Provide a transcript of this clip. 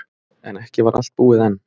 En ekki var allt búið enn.